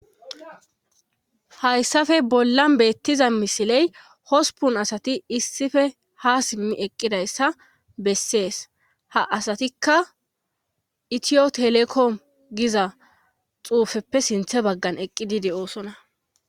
hayssafe bollan beettiza misiley hospun asati issife ha simmi eqqidayssa bessees ha asatikka itiyo telekom giza xuufeppe sinthe baggan eqqidi de'osona